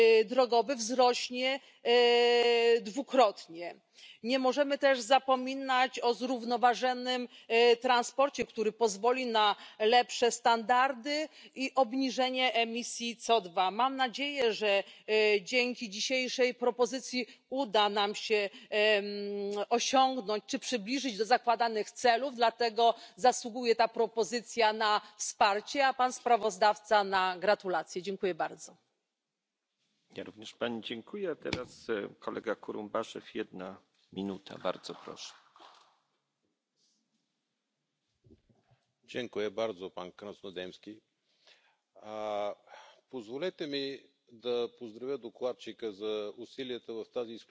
todella merkittäviä isoja leikkauksia liikenteen päästöihin. Siihen liittyen meillä on juuri täällä käsittelyssä lainsäädäntöä, missä pyritään ohjaamaan autonvalmistajia myöskin siihen suuntaan, että he pystyvät tuottamaan vähäpäästöisempiä autoja. Tässä on tärkeää ottaa huomioon hyvin monenlaiset eri teknologiat. Kaikkein nopein tapa, niin kuin tiedämme, on se, että lisätään uusiutuvaa polttoainetta autojen tankkeihin, koska autokanta uudistuu tavattoman hitaasti. Mutta samalla on selvää, että on edistettävä myös liikenteen sähköistymistä ja muita vaihtoehtoisia polttoaineita. Toinen iso trendi on digitalisaatio ja sen edistäminen. Toisaalta digitaalisaatio myös auttaa meitä vähentämään päästöjä, kun pystymme suunnittelemaan koko liikennejärjestelmän entistä tehokkaammin.